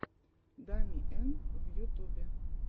дами эн в ютубе